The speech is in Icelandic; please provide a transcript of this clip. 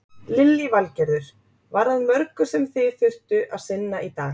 Lillý Valgerður: Var að mörgu sem þið þurftu að sinna í dag?